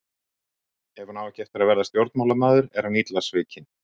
Ef hún á ekki eftir að verða stjórnmálamaður er hann illa svikinn.